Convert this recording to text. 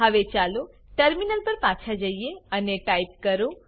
હવે ચાલો ટર્મિનલ પર પાછા જઈએ અને ટાઈપ કરો